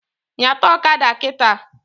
Nyata ọkada kịta!